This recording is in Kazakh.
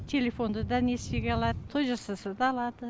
телефонды да несиеге алат той жасаса да алады